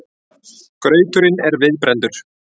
Grauturinn er viðbrenndur.